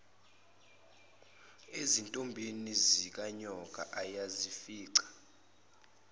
ezintombini zikanyoka ayezifica